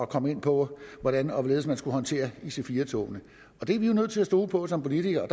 kom ind på hvordan og hvorledes de skulle håndtere ic4 togene det er vi jo nødt til at stole på som politikere og